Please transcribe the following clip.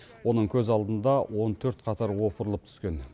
оның көз алдында он төрт қатар опырылып түскен